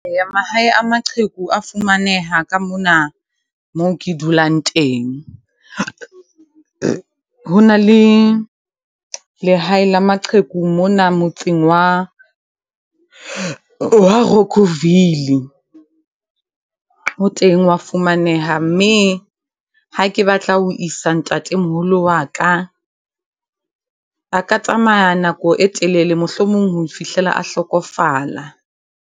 Eya, mahae a maqheku a fumaneha ka mona, moo ke dulang teng. Hona le lehae la maqheku mona motseng wa Rockville. O teng wa fumaneha, mme ha ke batla ho isa ntatemoholo wa ka, a ka tsamaya nako e telele. Mohlomong ho fihlela a hlokofala.